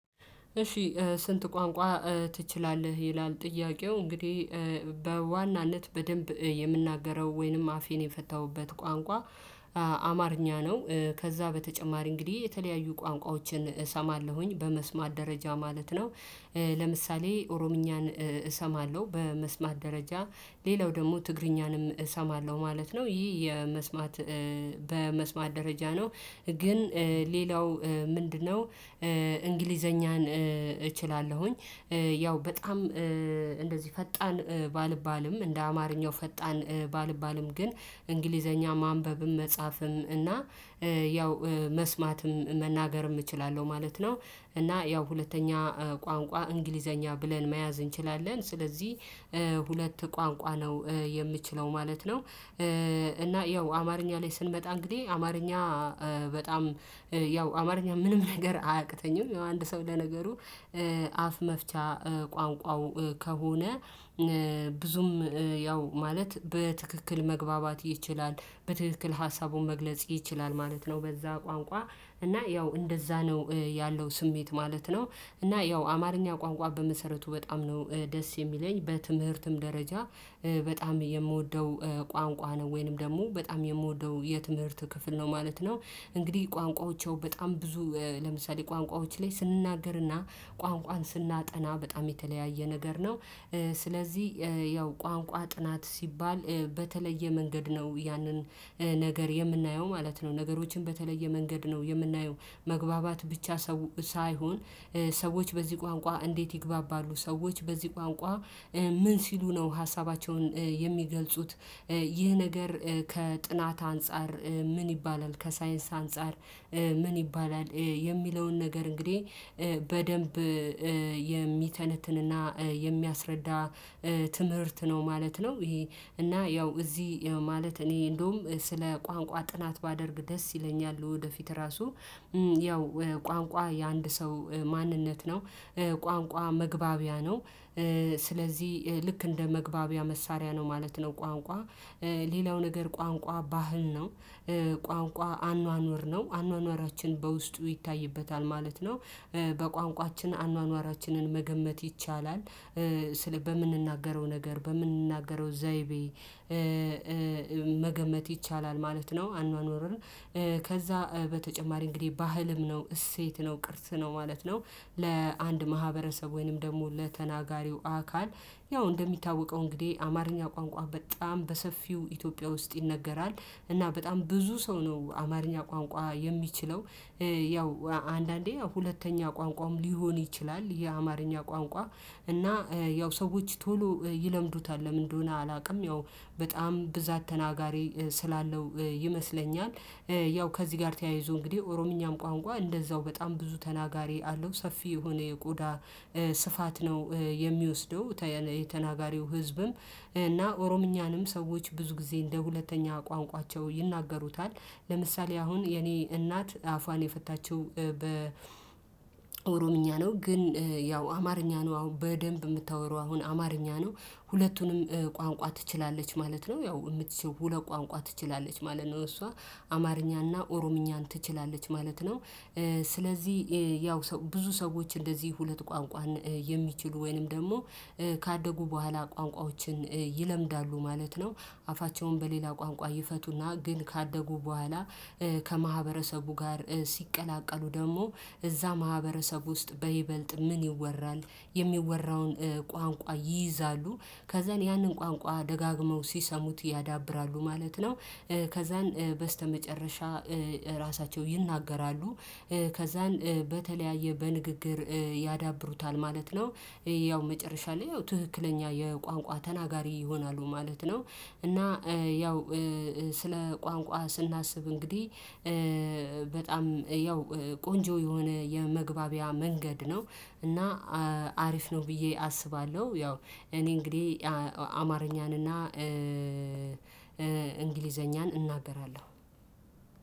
እሺ ስንት ቋንቋ ትችላለህ ይላል ጥያቄው እንግዲህ በዋናነት በደንብ የምናገረው ወይንም አፌን የፈታሁበት ቋንቋ? አማርኛ ነው ከዛ በተጨማሪ እንግዲህ የተለያዩ ቋንቋዎችን እሰማለሁኝ በመስማት ደረጃ ማለት ነው። ለምሳሌ ኦሮምኛን እሰማለሁ በመስማት ደረጃ ሌላው ደግሞ ትግርኛንም እሰማለሁ ማለት ነው። ይህ በመስማት ደረጃ ነው። ግን ሌላው ምንድነው? እንግሊዘኛን እችላለሁኝ። ያው በጣም እንደዚህ ፈጣን ባልባልም እንደ አማርኛው ፈጣን ባልባልም ግን እንግሊዘኛ ማንበብም መጻፍም እና ያው መስማትም መናገርም እችላለሁ ማለት ነው። እና ያው ሁለተኛ ቋንቋ እንግሊዘኛ ብለን መያዝ እንችላለን። ስለዚህ ሁለት ቋንቋ ነው የምችለው ማለት ነው። እና ያው አማርኛ ላይ ስንመጣ እንግዲህ አማርኛ በጣም ያው አማርኛ ምንም ነገር አያቅተኝም። አንድ ሰው ለነገሩ አፍ መፍቻ ቋንቋው ከሆነ። ብዙም ያው ማለት በትክክል መግባባት ይችላል በትክክል ሀሳቡን መግለጽ ይችላል ማለት ነው። በዛ ቋንቋ እና ያው እንደዛ ነው ያለው ስሜት ማለት ነው። እና ያው አማርኛ ቋንቋ በመሰረቱ በጣም ነው ደስ የሚለኝ በትምህርትም ደረጃ በጣም የምወደው ቋንቋ ነው ወይንም ደግሞ በጣም የምወደው የትምህርት ክፍል ነው ማለት ነው። እንግዲህ ቋንቋዎቻቸው በጣም ብዙ ለምሳሌ ቋንቋዎች ላይ ስንናገርና ቋንቋን ስናጠና በጣም የተለያየ ነገር ነው። ስለዚህ ያው ቋንቋ ጥናት ሲባል በተለየ መንገድ ነው ያንን ነገር የምናየው ማለት ነው። ነገሮችን በተለየ መንገድ ነው የምናየው። መግባባት ብቻ ሰው ሳይሆን ሰዎች በዚህ ቋንቋ እንዴት ይግባባሉ? ሰዎች በዚህ ቋንቋ? ምን ሲሉ ነው ሀሳባቸውን የሚገልጹት። ይህ ነገር ከጥናት አንፃር ምን ይባላል? ከሳይንስ አንፃር ምን ይባላል? የሚለውን ነገር እንግዲህ በደንብ የሚተነትንና የሚያስረዳ ትምህርት ነው ማለት ነው። ይሄ እና ያው እዚህ ማለት እኔ እንደውም ስለ ቋንቋ ጥናት ባደርግ ደስ ይለኛል። ወደፊት ራሱ ያው ቋንቋ የአንድ ሰው ማንነት ነው። ቋንቋ መግባቢያ ነው። ስለዚህ ልክ እንደ መግባቢያ መሳሪያ ነው ማለት ነው። ቋንቋ ሌላው ነገር ቋንቋ ባህል ነው። ቋንቋ አኗኗር ነው አኗኗራችን በውስጡ ይታይበታል ማለት ነው። በቋንቋችን አኗኗራችንን መገመት ይቻላል። ስለ በምንናገረው ነገር በምንናገረው ዘይቤ መገመት ይቻላል ማለት ነው። አኗኗር ከዛ በተጨማሪ እንግዲህ ባህልም ነው እሴት ነው ቅርጽ ነው ማለት ነው። ለአንድ ማህበረሰብ ወይንም ደግሞ ለተናጋሪው አካል ያው እንደሚታወቀው እንግዲህ አማርኛ ቋንቋ በጣም በሰፊው ኢትዮጵያ ውስጥ ይነገራል። እና በጣም ብዙ ሰው ነው አማርኛ ቋንቋ የሚችለው። ያው አንዳንዴ ሁለተኛ ቋንቋም ሊሆን ይችላል የአማርኛ ቋንቋ እና ያው ሰዎች ቶሎ ይለምዱታል ለምን እንደሆነ አላውቅም። ያው በጣም ብዛት ተናጋሪ ስላለው ይመስለኛል። ያው ከዚህ ጋር ተያይዞ እንግዲህ ኦሮምኛም ቋንቋ እንደዛው በጣም ብዙ ተናጋሪ አለው ሰፊ የሆነ የቆዳ ስፋት ነው የሚወስደው። የተናጋሪው ህዝብም እና ኦሮምኛንም ሰዎች ብዙ ጊዜ እንደ ሁለተኛ ቋንቋቸው ይናገሩታል። ለምሳሌ አሁን የኔ እናት አፏን የፈታችው በኦሮምኛ ነው ግን ያው አማርኛ ነው አሁን በደንብ የምታወራው አሁን አማርኛ ነው። ሁለቱንም ቋንቋ ትችላለች ማለት ነው ያው የምትችለው ሁለት ቋንቋ ትችላለች ማለት ነው እሷ አማርኛና ኦሮምኛን ትችላለች ማለት ነው። ስለዚህ ያው ብዙ ሰዎች እንደዚህ ሁለት ቋንቋን የሚችሉ ወይንም ደግሞ ካደጉ በኋላ ቋንቋዎችን ይለምዳሉ ማለት ነው። አፋቸውን በሌላ ቋንቋ ይፈቱና ግን ካደጉ በኋላ ከማህበረሰቡ ጋር ሲቀላቀሉ ደግሞ እዛ ማህበረሰብ ውስጥ በይበልጥ ምን ይወራል? የሚወራውን ቋንቋ ይይዛሉ ከዛን ያንን ቋንቋ ደጋግመው ሲሰሙት ያዳብራሉ ማለት ነው። ከዛን በስተመጨረሻ ራሳቸው ይናገራሉ። ከዛን በተለያየ በንግግር ያዳብሩታል ማለት ነው። ያው መጨረሻ ላይ ያው ትክክለኛ የቋንቋ ተናጋሪ ይሆናሉ ማለት ነው። እና ያው ስለ ቋንቋ ስናስብ እንግዲህ በጣም ያው ቆንጆ የሆነ የመግባቢያ መንገድ ነው። እና አሪፍ ነው ብዬ አስባለሁ። ያው እኔ እንግዲህ አማርኛን እና እንግሊዘኛን እናገራለሁ።